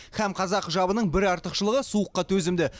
һәм қазақы жабының артықшылығы суыққа төзімді